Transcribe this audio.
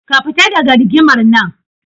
Ka fita daga rigimar nan.